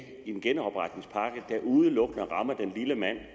en genopretningspakke der udelukkende rammer den lille mand